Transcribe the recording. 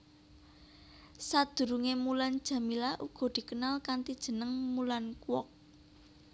Sadurungé Mulan Jameela uga dikenal kanthi jeneng Mulan Kwok